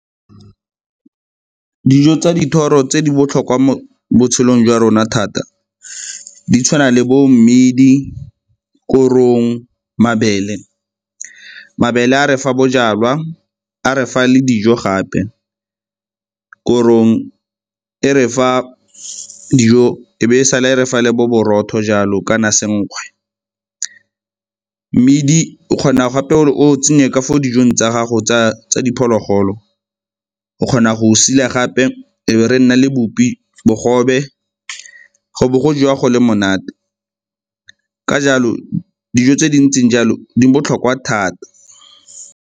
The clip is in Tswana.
Dijo tsa dithoro tse di botlhokwa mo botshelong jwa rona thata di tshwana le bo mmidi, korong, mabele. Mabele a re fa bojalwa, a re fa le dijo gape. Korong e re fa dijo, e be e sale e refa le bo borotho jalo kana senkgwe. Mmidi o kgona gape o tsenye ka fo dijong tsa gago tsa diphologolo, o kgona go sila gape e be re na le bopi, bogobe, go bo go jwa go le monate. Ka jalo dijo tse di ntseng jalo di botlhokwa thata.